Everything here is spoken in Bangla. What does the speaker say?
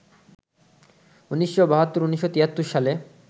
১৯৭২, ১৯৭৩ সালে